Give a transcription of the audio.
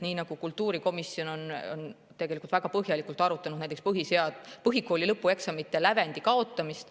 Näiteks kultuurikomisjon on tegelikult väga põhjalikult arutanud põhikooli lõpueksamite lävendi kaotamist.